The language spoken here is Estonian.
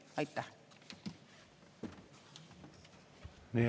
Aitäh!